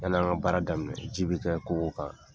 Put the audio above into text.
Yann'an ka baara daminɛ, ji bɛ kɛ kogo kan.